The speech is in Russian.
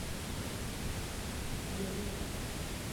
моя леди